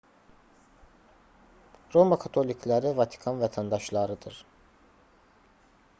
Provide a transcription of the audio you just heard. roma katolikləri vatikan vətəndaşlarıdır